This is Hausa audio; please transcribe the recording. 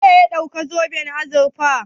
Wane ne ya ɗauki zoben azurfa?